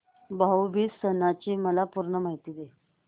भाऊ बीज सणाची मला पूर्ण माहिती दे